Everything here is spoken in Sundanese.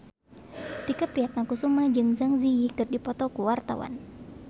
Tike Priatnakusuma jeung Zang Zi Yi keur dipoto ku wartawan